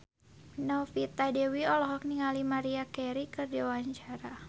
Novita Dewi olohok ningali Maria Carey keur diwawancara